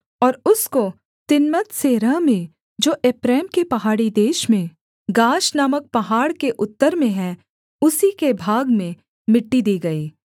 और उसको तिम्नत्सेरह में जो एप्रैम के पहाड़ी देश में गाश नामक पहाड़ के उत्तर में है उसी के भाग में मिट्टी दी गई